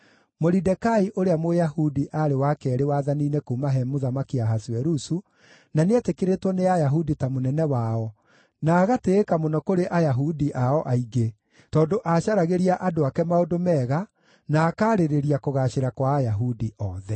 Moridekai ũrĩa Mũyahudi aarĩ wa keerĩ wathani-inĩ kuuma he Mũthamaki Ahasuerusu, na nĩeetĩkĩrĩtwo nĩ Ayahudi ta mũnene wao, na agatĩĩka mũno kũrĩ Ayahudi ao aingĩ, tondũ aacaragĩria andũ ake maũndũ mega, na akaarĩrĩria kũgaacĩra kwa Ayahudi othe.